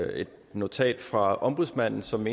notat fra ombudsmanden som